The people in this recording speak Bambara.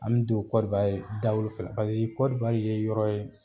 An be don dawolo fɛ. Paseke ye yɔrɔ ye